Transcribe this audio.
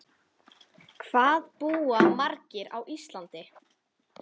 Hvað búa margir á Íslandi?